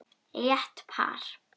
Létt par.